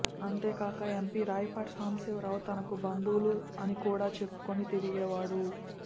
అంతేకాక ఎంపీ రాయపాటి సాంబశివరావు తనకు బంధువు అనికూడా చెప్పుకుని తిరిగేవాడు